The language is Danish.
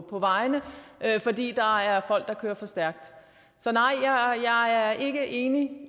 på vejene fordi der er folk der kører for stærkt så nej jeg er ikke enig